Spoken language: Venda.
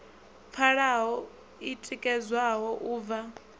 pfalaho i tikedzwaho u bva